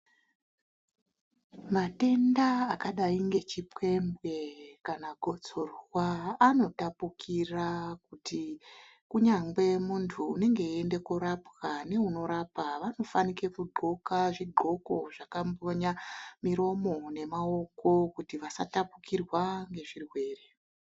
Matenda akadai ngechipembwe kana gotsorwa anotapukira kuti kunyangwe muntu unenge eiende korapwa neunorapa vanofanirwa kupfeke zvingoko zvakambonya muromo nemaoko kuti vasatapukirwa ngezvirwere.